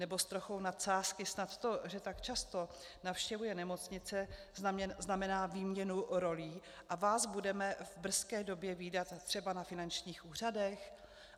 Nebo s trochou nadsázky snad to, že tak často navštěvuje nemocnice, znamená výměnu rolí a vás budeme v brzké době vídat třeba na finančních úřadech?